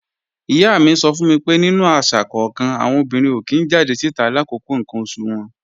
Ìyá mi sọ fún mi pé nínú àṣà kọ́kan, àwọn obìnrin ò kí ń jáde síta làkókò ǹkan oṣù wọn